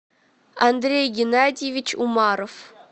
андрей геннадьевич умаров